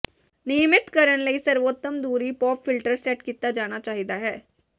ਿਨਯਮਤ ਕਰਨ ਲਈ ਸਰਵੋਤਮ ਦੂਰੀ ਪੌਪ ਫਿਲਟਰ ਸੈੱਟ ਕੀਤਾ ਜਾਣਾ ਚਾਹੀਦਾ ਹੈ